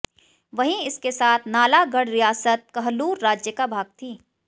वहीं इसके साथ नालागढ़ रियासत कहलूर राज्य का भाग थी